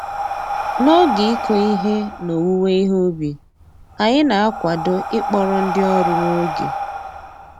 N'oge ịkụ ihe na owuwe ihe ubi, anyị na-akwado ịkpọrọ ndị ọrụ n'oge